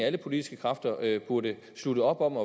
alle politiske kræfter burde slutte op om